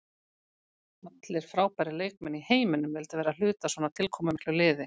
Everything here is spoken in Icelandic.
Allir frábærir leikmenn í heiminum vildu vera hluti af svona tilkomumiklu liði.